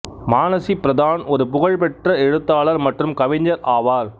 மானசி பிரதான் ஒரு புகழ்பெற்ற எழுத்தாளர் மற்றும் கவிஞர் ஆவார்